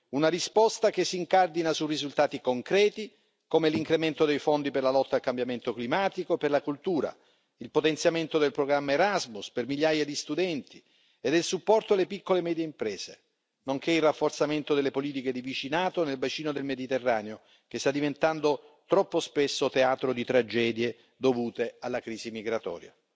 Una risposta che si incardina su risultati concreti, come l'incremento dei fondi per la lotta al cambiamento climatico e per la cultura, il potenziamento del programma Erasmus per migliaia di studenti e del supporto alle piccole e medie imprese, nonché il rafforzamento delle politiche di vicinato nel bacino del Mediterraneo, che sta diventando troppo spesso teatro di tragedie dovute alla crisi migratoria.